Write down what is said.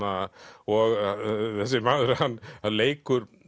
og þrælfyndin þessi maður hann leikur